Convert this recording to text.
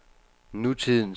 nutidens